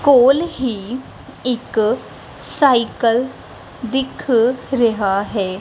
ਕੋਲ ਹੀ ਇੱਕ ਸਾਈਕਲ ਦਿੱਖ ਰਿਹਾ ਹੈ।